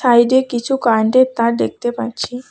সাইডে কিছু কারেন্টের তার দেখতে পাচ্ছি।